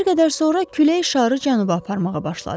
Bir qədər sonra külək şarı cənuba aparmağa başladı.